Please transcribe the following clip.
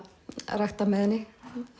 rækta með henni